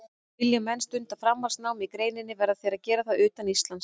Vilji menn stunda framhaldsnám í greininni verða þeir að gera það utan Íslands.